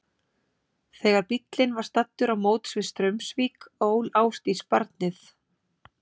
Þegar bíllinn var staddur á móts við Straumsvík ól Ásdís barnið.